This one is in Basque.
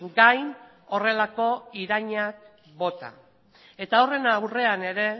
gain horrelako iraina bota eta horren aurrean ere